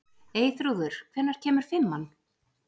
Eyþrúður, hvenær kemur fimman?